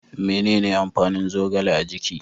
Menene amfanin zogale a jiki?